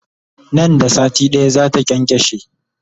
Nan da sati ɗaya zata kyankyashe